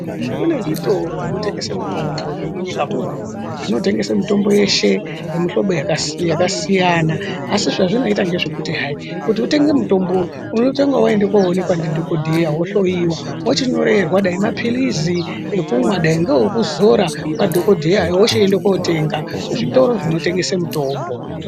Kune zvitoro zvekutengesa mitombo zviro munyika munomu zvinotengesa mutombo yeshe yemuhlobo yakasiyana asi zvazvinoita ngezvekuti hayi kuti unenge mutombo uyu unotanga waende kunoonekwa ndidhokodheya wohloyiwe wochinyorerwe mapiritsi dai ndeyekumwa dai ngeekuzora madhokodheya anti ende unotenga muzvitoro zvinotengeswe mitombo.